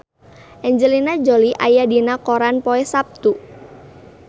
Angelina Jolie aya dina koran poe Saptu